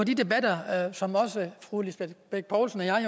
i de debatter som fru lisbeth bech poulsen og jeg